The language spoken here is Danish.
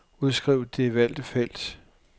Udskriv det valgte felt.